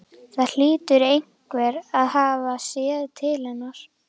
Það hlýtur einhver að hafa séð til hennar.